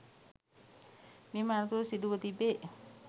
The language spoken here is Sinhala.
මෙම අනතුර සිදුව තිබේ